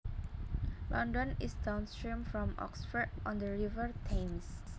London is downstream from Oxford on the River Thames